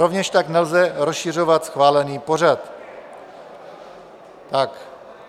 Rovněž tak nelze rozšiřovat schválený pořad.